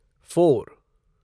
four